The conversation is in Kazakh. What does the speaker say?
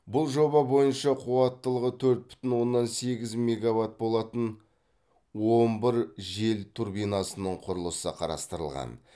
бұл жоба бойынша қуаттылығы төрт бүтін оннан сегіз мегаватт болатын он бір жел турбинасының құрылысы қарастырылған